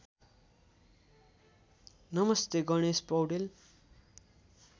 नमस्ते गणेश पौडेल